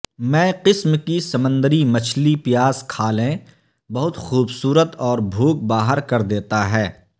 میں قسم کی سمندری مچھلی پیاز کھالیں بہت خوبصورت اور بھوک باہر کر دیتا ہے